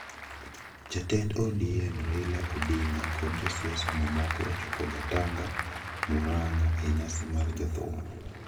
Jatend ODM Raila Odinga kod josiasa mamoko ochopo Gatanga, Murang'a e nyasi mar jothum.